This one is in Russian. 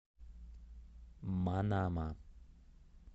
манама